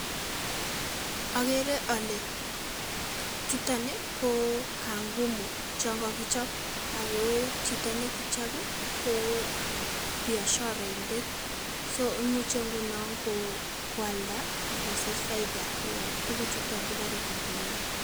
Agere ale chutoon ii ko kangumu chaang kagichaap ago chitoo nekichaap ii ko biasharaindet so imuche ngunon koyaldaa agosich faida koyaab tuguchutaa kiguren kangumu